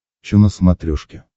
че на смотрешке